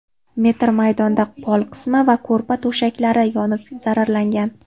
metr maydonda pol qismi va ko‘rpa-to‘shaklari yonib zararlangan.